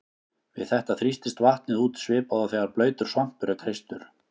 Við þetta þrýstist vatnið út svipað og þegar blautur svampur er kreistur.